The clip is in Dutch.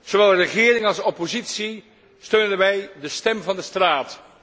Zowel regering als oppositie steunen daarbij de stem van de straat.